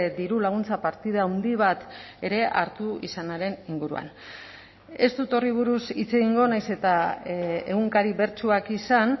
dirulaguntza partida handi bat ere hartu izanaren inguruan ez dut horri buruz hitz egingo nahiz eta egunkari bertsuak izan